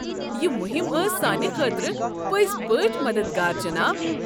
یہ مہم ٲس سانہِ خٲطرٕ پٔزۍ پٲٹھۍ مددگار، جناب۔